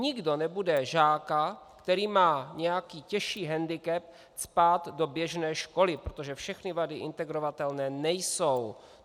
Nikdo nebude žáka, který má nějaký těžší hendikep, cpát do běžné školy, protože všechny vady integrovatelné nejsou.